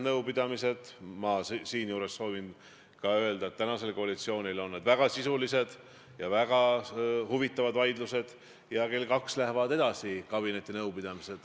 Kui te kaitsete Urmas Reitelmanni, siis küsimus ei ole selles, et ta on rahva valitud saadik, vaid selles, mis on see kriteerium, mille alusel inimesed lähevad meie Eesti Vabariiki esindama.